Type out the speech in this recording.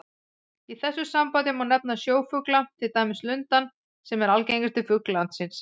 Í þessu sambandi má nefna sjófugla, til dæmis lundann sem er algengasti fugl landsins.